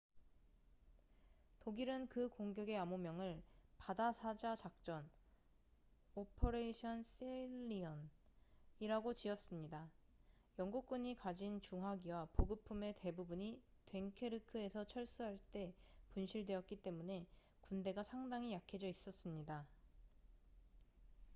"독일은 그 공격의 암호명을 "바다사자 작전operation sealion""이라고 지었습니다. 영국군이 가진 중화기와 보급품의 대부분이 됭케르크에서 철수할 때 분실되었기 때문에 군대가 상당히 약해져 있었습니다.